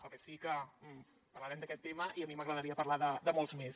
el que sí que parlarem d’aquest tema i a mi m’agradaria parlar ne de molts més